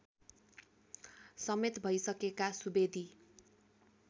समेत भइसकेका सुवेदी